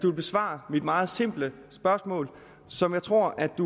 vil besvare mit meget simple spørgsmål som jeg tror at